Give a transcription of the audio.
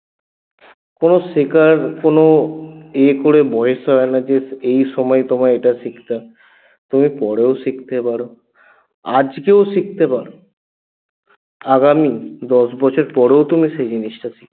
কোনো শিখার কোনো ইয়ে করে বয়স হয়না যে এই সময় তোমায় এটা শিখতে তুমি পরেও শিখতে পারো আজকেও শিখতে পারো আগামী দশ বছর পরেও তুমি সেই জিনিসটা শিখতে